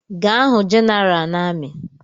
Gaa hụ General na amị!